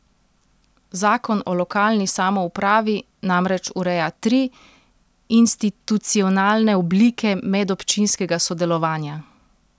Zakon o lokalni samoupravi namreč ureja tri institucionalne oblike medobčinskega sodelovanja.